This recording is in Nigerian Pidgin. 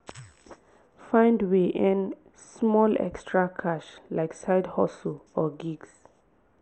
find way earn small extra cash like side hustle or gigs